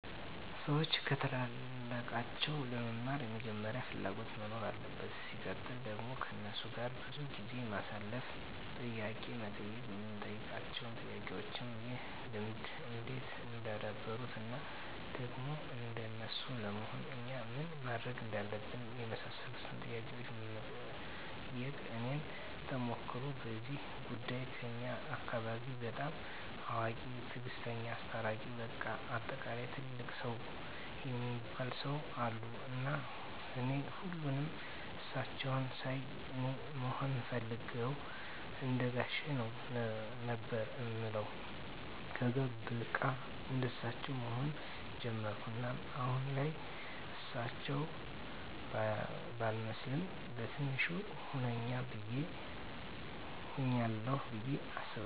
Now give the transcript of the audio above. ሰዎች ከታላላቃቸው ለመማር መጀመሪያ ፍላጎት መኖር አለበት ሲቀጥል ደግሞ ከነሱ ጋር ብዙ ጊዜ ማሳለፍ፣ ጥያቄ መጠየቅ የምንጠይቃቸው ጥያቄዎችም ይህን ልምድ እንዴት እንዳደበሩት እና ደግሞ እንደነሱ ለመሆን እኛ ምን ማድረግ እንዳለብን የመሳሰሉትን ጥያቄዎች መጠየቅ። የኔን ተሞክሮ በዚህ ጉዳይ ከኛ አካባቢ በጣም አዋቂ፣ ትግስተኛ፣ አስታራቂ በቃ በአጠቃላይ ትልቅ ሰው እሚባሉ ሰው አሉ እና እኔ ሁሌም እሳቸውን ሳይ አኔ መሆን እምፈልገው እንደጋሼ ነው ነበር እምለው ከዛ በቃ እንደሳቸው መሆን ጀመርኩ እናም አሁን ላይ እርሳቸው ባልመስልም በቲንሹ ሁኛለሁ ብዬ አስባለሁ።